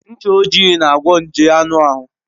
Ncha ojii na-agwọ nje anụ ahụ.